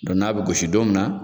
Dɔn n'a bɛ gosi don min na.